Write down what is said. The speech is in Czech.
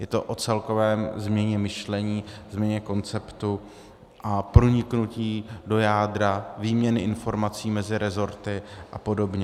Je to o celkové změně myšlení, změně konceptu a proniknutí do jádra výměny informací mezi rezorty a podobně.